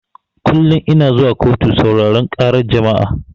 Kullun ina zuwa kotu sauraran ƙara jama'a